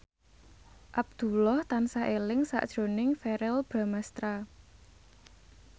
Abdullah tansah eling sakjroning Verrell Bramastra